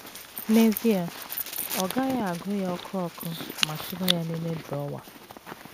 N’ezie, ọ gaghị agụ ya ọkụ ọkụ ma tụba ya n’ime drọwa.